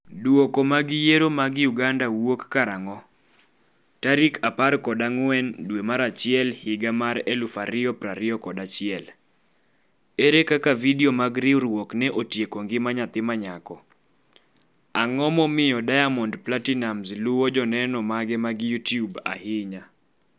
Duoko mag Yiero mag Uganda wuok karang'o? tarik 14 dwe mar achiel higa mar 2021 1 Ere kaka vidio mag riwruok ne otieko ngima nyathi ma nyako 2 Ang'o momiyo Diamond Platinumz luwo joneno mage mag YouTube ahinya?